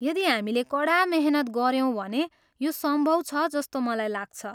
यदि हामीले कडा मेहनत गऱ्यौँ भने यो सम्भव छ जस्तो मलाई लाग्छ।